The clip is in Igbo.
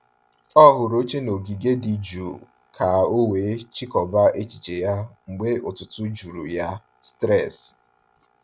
Ọ hụrụ oche n’ogige dị jụụ ka o wee chịkọba echiche ya mgbe ụtụtụ juru ya stress.